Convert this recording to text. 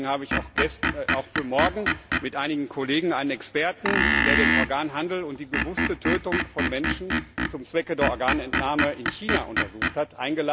Deswegen habe ich auch für morgen mit einigen Kollegen einen Experten eingeladen, der den Organhandel und die bewusste Tötung von Menschen zum Zwecke der Organentnahme in China untersucht hat.